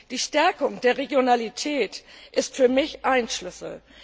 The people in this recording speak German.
Die Stärkung der Regionalität ist für mich ein Schlüssel.